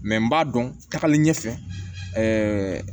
n b'a dɔn tagali ɲɛfɛ ɛɛ